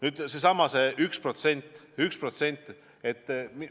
Nüüd seesama 1% SKP-st.